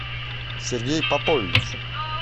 сергей попович